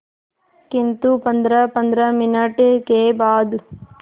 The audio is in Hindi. किंतु पंद्रहपंद्रह मिनट के बाद